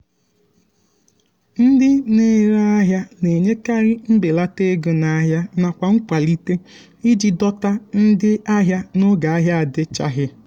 ndị na-ere ahịa na-enyekarị mbelata ego n'ahia nakwa nkwalite iji dọta ndị ahịa n'oge ahia adichaghi.